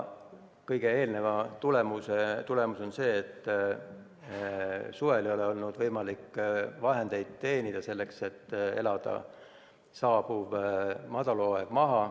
Kõige eelneva tagajärg on see, et suvel ei olnud võimalik vahendeid teenida, et saabuv madalhooaeg üle elada.